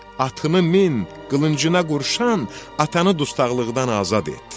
Atını min, qılıncına qurşan, atanı dustaqlıqdan azad et.